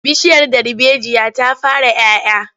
Bishiyar darbejiya ta fara 'ya 'ya.